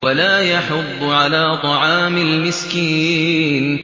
وَلَا يَحُضُّ عَلَىٰ طَعَامِ الْمِسْكِينِ